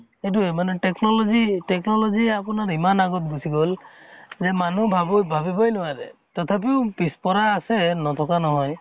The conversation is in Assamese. এইটোয়ে মানে technology technology আপোনাৰ ইমান আগত গুছি গʼল যে মানুহ ভাবো ভাবিবই নোৱাৰে । তথাপিও পিছ পৰা আছে নথকা নহয়